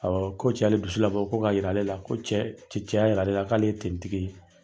Awɔ, ko cɛ y'ale dusu labɔ ko ka yira ale la ko cɛ cɛ ya yira ale la k'ale ye tigi ye.